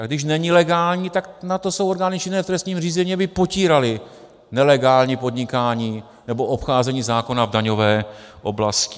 A když není legální, tak na to jsou orgány činné v trestním řízení, aby potíraly nelegální podnikání nebo obcházení zákona v daňové oblasti.